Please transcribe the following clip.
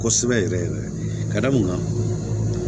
Kosɛbɛ yɛrɛ yɛrɛ ka da mun kan